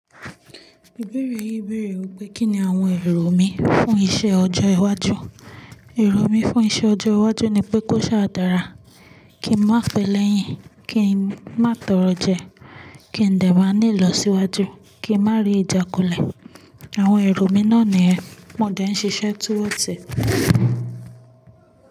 Ibeẹ̀rẹ̀ yi bẹ̀rẹ̀ wipe kíni àwọn èrò mi fún iṣẹ́ ọjọ́ iwájú. Èrò mi fún iṣẹ́ ọjọ́ iwájú ni pé kó ṣàdára, kí n má pe lẹ́yìn, kí n má tọrọ jẹ, kí n dẹ̀ má ní ìlọsíwájú, kí n má rí ìjàkulẹ̀. Àwọn èrò mi náà ni ẹ, mo dẹ̀ ń ṣiṣẹ́ towards e.